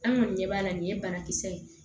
An kɔni ɲɛ b'a la nin ye banakisɛ ye